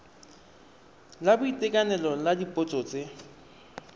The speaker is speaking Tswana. la boitekanelo la dipotso tse